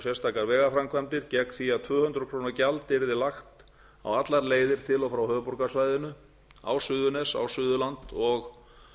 sérstakar vegaframkvæmdir gegn því að tvö hundruð króna gjald yrði lagt á allar leiðir til og frá höfuðborgarsvæðinu á suðurnes á suðurland og